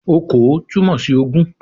"Okòó" túmọ̀ sí ogún